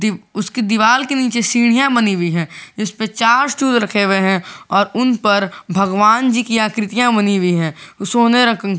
उसकी दीवार के नीचे सीढ़ियां बनी हुई हैं इसमें चार स्टूल रखे हुए हैं और उन पर भगवान जी की आकृतियां बनी हुई हैं सोने रंग की।